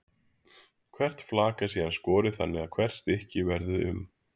Hvert flak er síðan skorið þannig að hvert stykki verði um